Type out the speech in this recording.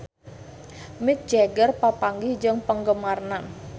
Mick Jagger papanggih jeung penggemarna